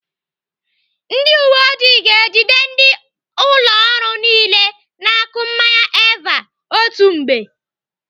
Ndị uwe ọjị ga-ejide ndị ụlọ ọrụ niile na-akụ mmanya Eva otu mgbe.